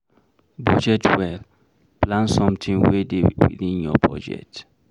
Budget well, plan something wey dey within your budget